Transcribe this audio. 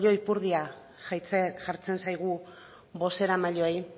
oilo ipurdia jartzen zaigu bozeramaileei